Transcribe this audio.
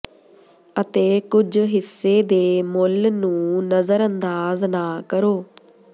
ਅਤੇ ਕੁਝ ਹਿੱਸੇ ਦੇ ਮੁੱਲ ਨੂੰ ਨਜਰਅੰਦਾਜ ਨਾ ਕਰੋ